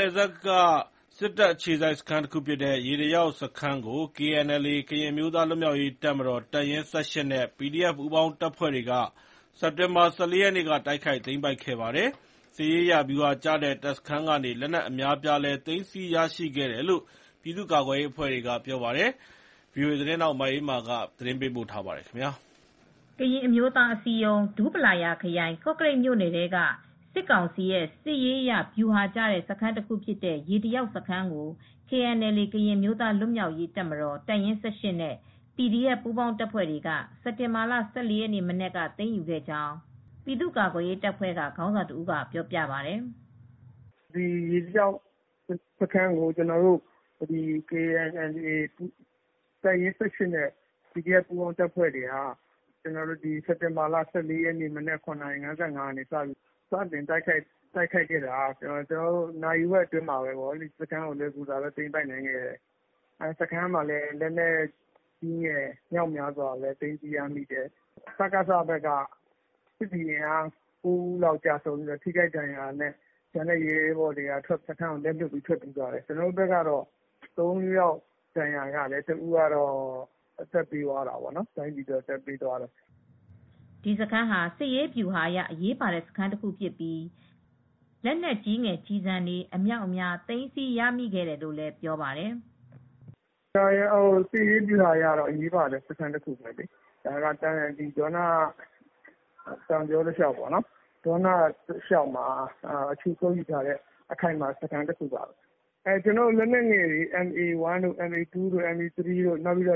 နယ်စပ်က စစ်တပ်အခြေစိုက်စခန်းတခုဖြစ်တဲ့ ရေတလျောက်စခန်းကို KNLA - ကရင်အမျိုးသား လွတ်မြောက်ရေးတပ်မတော် တပ်ရင်း (၁၈) နဲ့ PDF ပူးပေါင်းတပ်ဖွဲ့တွေက စက်တင်ဘာလ ၁၄ ရက်နေ့က တိုက်ခိုက်သိမ်းပိုက်ခဲ့ပါတယ်။ စစ်ရေးအရ ဗျူဟာကျတဲ့တပ်စခန်းကနေ လက်နက်အများအပြားလည်း သိမ်းဆည်းရရှိခဲ့တယ်လို့ ပြည်သူ့ကာကွယ်ရေးအဖွဲ့တွေက ပြောပါတယ်။ ဗွီအိုအေသတင်းထောက် မအေးအေးမာ သတင်းပို့ထားပါတယ်။ ကရင်အမျိုးသားအစည်းအရုံး ကော်သူးလေ အုပ်ချုပ်နယ်မြေထဲမှာရှိတဲ့ ဒူးပလာယာခရိုင်၊ ကော့ကရိတ်မြို့နယ်ထဲက စစ်ကောင်စီရဲ့ စစ်ရေးအရ ဗျူဟာကျတဲ့ ရေတလျောက်စခန်းကို သိမ်းပိုက်နိုင်ခဲ့တယ်လို့ KNU ကသတင်းထုတ်ပြန်ပါတယ်။ KNLA ကရင်အမျိုးသား လွတ်မြောက်ရေးတပ်မတော် တပ်ရင်း (၁၈) နဲ့ PDF ပြည်သူ့ကာကွယ်ရေး ပူးပေါင်းတပ်ဖွဲ့တွေ စက်တင်ဘာ ၁၄ ရက်က သိမ်းယူခဲ့တာဖြစ်တယ်လို့ ပြည်သူကာကွယ်ရေးတပ်ဖွဲ့ ခေါင်းဆောင်တဦးက VOA ကို ပြောပါတယ်. "ရေတလျောက်စခန်းကို KNLAတပ်ရင်း ၁၈နဲ့ /PDF ပူးပေါင်းတပ်ဖွဲ့တွေက စက်တင်ဘာလ ၁၄ရက်နေ့မနက် ၇ နာရီ ၅၅ လောက်က တိုက်ခိုက် သိမ်းပိုက်ရာမှာ နာရီဝက်အတွင်းမှာ လွယ်ကူစွာတိုက်ခိုက်သိမ်းပိုက်နိုင်တယ်။ စခန်းက လက်နက်ကြီးငယ်အမြောက်အများသိမ်းပိုက်နိုင်ခဲ့တယ်။ စကစဘက်က ၉ ဦးအသက်သေဆုံးတယ်။ ကျန်တဲ့သူတွေကတော့ စခန်းကိုစွန့်ခွါထွက်ပြေးသွားကြတယ်။ ကျနော်တို့ဘက်က ၃ ဦးဒဏ်ရာရတယ် တဦးကတော့ တိုင်းပြည်အတွက်အသက်ပေးသွားရတယ်" ဒီစခန်းဟာ စစ်ရေးဗျူဟာအရ အရေးပါတဲ့စခန်းတခုဖြစ်ပြီး လက်နက်ကြီး လက်နက်ငယ်ကျည်ဆံတွေ အမြောက်အများ သိမ်းဆည်းရမိခဲ့တယ်လို့လည်း ပြောပါတယ်။ "စစ်ရေးဗျူဟာအရ အရေးပါတဲ့စခန်းဖြစ်တယ် ဒေါန တောင်ကြောတလျောက်မှာ ခြေကုတ်ယူထားတဲ့ အခြေချ စခန်းတခုဖြစ်ပါတယ်။ ကျနော်တို့ဘက်က လက်နယ်ငယ်တွေ MA 1 MA2 60 မမ တွေ